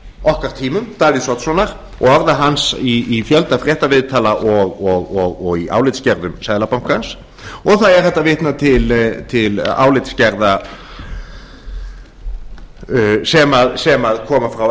okkar tímum davíðs oddssonar og orða hans í fjölda fréttaviðtala og í álitsgerðum seðlabankans og það er hægt að vitna til álitsgerða sem koma frá